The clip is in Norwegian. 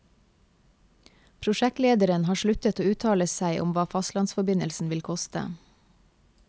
Prosjektlederen har sluttet å uttale seg om hva fastlandsforbindelsen vil koste.